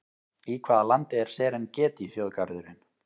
Í hvaða landi er Serengeti þjóðgarðurinn?